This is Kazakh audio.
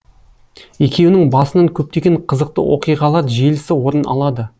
екеуінің басынан көптеген қызықты оқиғалар желісі орын алады